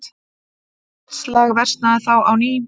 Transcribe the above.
Loftslag versnaði þá á ný.